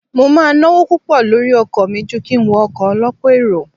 Mo máa ń náwó púpọ̀ lórí ọkọ̀ mi ju kí n wọ ọkọ̀ ọ lọ́pọ̀ èrò.